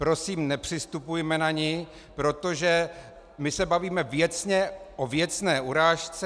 Prosím, nepřistupujme na ni, protože my se bavíme věcně o věcné urážce.